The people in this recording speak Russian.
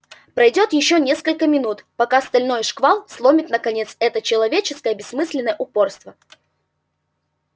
пройдёт ещё несколько минут пока стальной шквал сломит наконец это нечеловеческое бессмысленное упорство